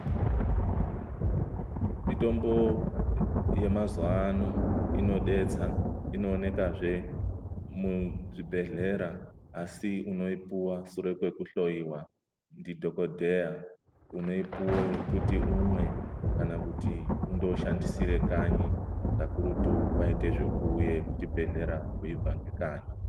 Mitombo yemazuwa ano inodetsa inoonekazve muzvibhedhlera asi unoipuwa sure kwekuhloyiwa ndidhokodheya unoipuwa kuti umwe kana kuti undooshandisire kanyi kakurutu waite zvekuuya kuchibhedhlera weibva ngekanyi.